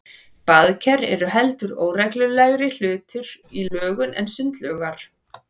Baðker eru heldur óreglulegri hlutir í lögun en sundlaugar.